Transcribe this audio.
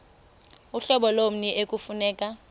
uhlobo lommi ekufuneka